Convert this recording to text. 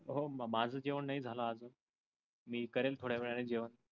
हो माझ जेवण नाही झाल अजून, मी करेल थोड्या वेळान जेवन.